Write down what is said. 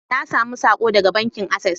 Na samu sako daga bankin Access